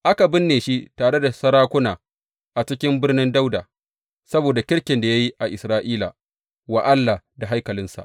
Aka binne shi tare da sarakuna a cikin Birnin Dawuda, saboda kirkin da ya yi a Isra’ila wa Allah da haikalinsa.